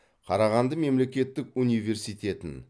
қарағанды мемлекеттік университетін